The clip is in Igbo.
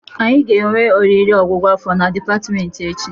Anyị ga-enwe oriri ọgwụgwụ afọ na dịpatmenti echi